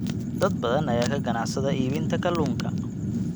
Dad badan ayaa ka ganacsada iibinta kalluunka.